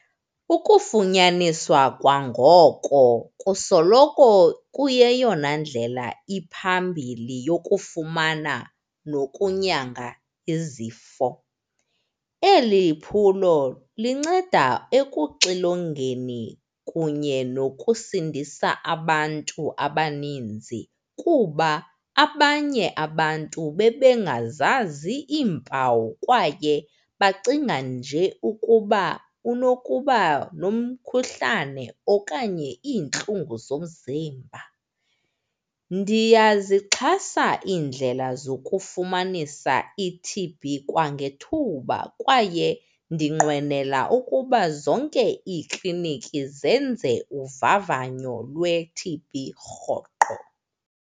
Ukufunyaniswa kwangoko kusoloko kuyeyona ndlela iphambili yokufumana nokunyanga izifo. Eli phulo linceda ekuxilongeni kunye nokusindisa abantu abaninzi kuba abanye abantu bebengazazi iimpawu kwaye bacinga nje ukuba unokuba nomkhuhlane okanye iintlungu zomzimba. Ndiyazixhasa iindlela zokufumanisa i-T_B kwangethuba kwaye ndinqwenela ukuba zonke iikliniki zenze uvavanyo lwe-T_B rhoqo.